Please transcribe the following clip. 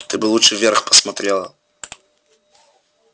ты бы лучше вверх посмотрела